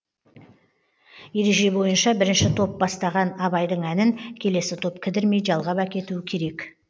ереже бойынша бірінші топ бастаған абайдың әнін келесі топ кідірмей жалғап әкетуі керек